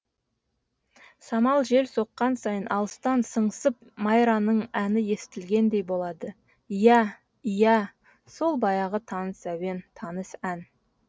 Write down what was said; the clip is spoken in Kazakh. самал жел соққан сайын алыстан сыңсып майраның әні естілгендей болады иә иә сол баяғы таныс әуен таныс ән